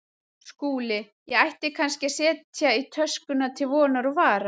SKÚLI: Ég ætti kannski að setja í töskurnar til vonar og vara.